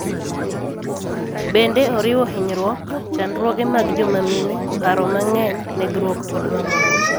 Bende oriwo hinyruok, chandruoge mag joma mine, paro mang�eny, nekruok kod mamoko.